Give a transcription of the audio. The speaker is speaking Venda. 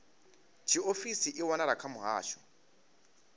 tshiofisi i wanala kha muhasho